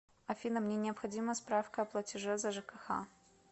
афина мне необходима справка о платеже за жкх